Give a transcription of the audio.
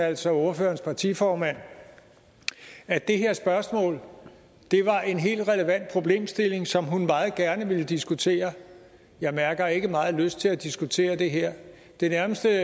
altså ordførerens partiformand at det her spørgsmål var en helt relevant problemstilling som hun meget gerne ville diskutere jeg mærker ikke meget lyst til at diskutere det her det nærmeste